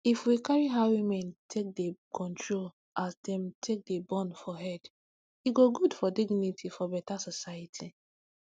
if we carry how women take dey control as dem take dey born for head e go good for dignity for beta society